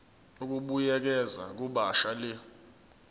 ukubuyekeza kabusha le